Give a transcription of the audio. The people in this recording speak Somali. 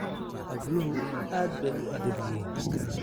Habluhu aad bay u adag yihiin.